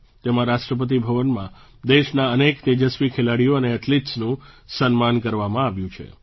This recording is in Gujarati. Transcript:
તેમાં રાષ્ટ્રપતિ ભવનમાં દેશના અનેક તેજસ્વી ખેલાડીઓ અને એથ્લીટ્સનું સન્માન કરવામાં આવ્યું છે